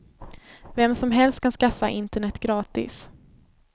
Vem som helst kan skaffa internet gratis.